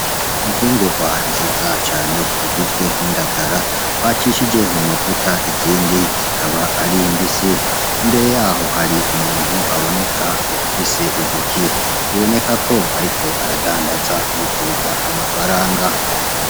Imfungurwa nziza cane zigizwe n'indagara bacishije mu mavuta, izindi zikaba ari imbisi. Imbere yaho hari umuntu aboneka afise intoki biboneka ko ariko aradandaza yifuza amafaranga.